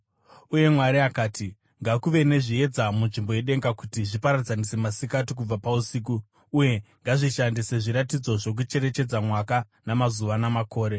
Uye Mwari akati, “Ngakuve nezviedza munzvimbo yedenga kuti zviparadzanise masikati kubva pausiku, uye ngazvishande sezviratidzo zvokucherechedza mwaka namazuva namakore,